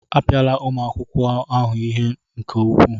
Apịala ụmụ akwụkwọ ahụ ihe nke ukwuu!